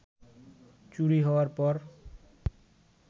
চুরি হওয়ার পর